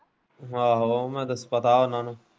ਆਹੋ ਉਹਨੇ ਦੱਸੇ ਦਾ ਉਹਨਾਂ ਨੂੰ।